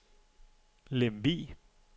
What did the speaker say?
Lemvig